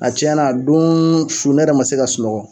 A tiɲɛn'a doon su ne yɛrɛ ma se ka sunɔgɔ.